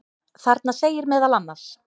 Þarna segir meðal annars: